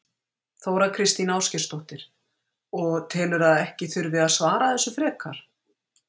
Þóra Kristín Ásgeirsdóttir: Og telurðu að ekki þurfi að svara þessu frekar?